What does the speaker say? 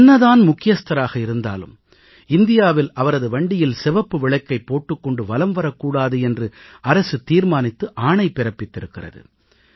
என்னதான் முக்கியஸ்தராக இருந்தாலும் இந்தியாவில் அவரது வண்டியில் சிவப்பு விளக்கைப் போட்டுக் கொண்டு வலம் வரக் கூடாது என்று அரசு தீர்மானித்து ஆணை பிறப்பித்திருக்கிறது